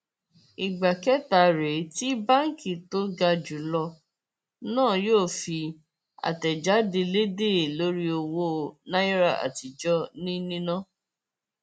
ìgbà kẹta rèé tí báǹkì tó ga jù lọ náà yóò fi àtẹjáde lédè lórí owó náírà àtijọ ní níná